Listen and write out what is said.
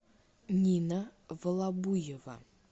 нина волобуева